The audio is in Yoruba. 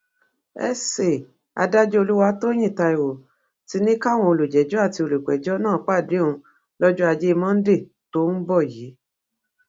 sa adájọ olùwàtòyìn taiwo ti ní káwọn olùjẹjọ àti olùpẹjọ náà pàdé òun lọjọ ajé monde tó ń bọ yìí